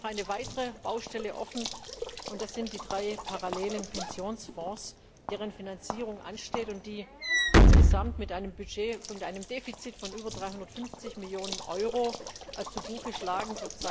Wir haben noch eine weitere Baustelle offen, und das sind die drei parallelen Pensionsfonds, deren Finanzierung ansteht und die zurzeit insgesamt mit einem Defizit von über 350 Millionen Euro zu Buche schlagen.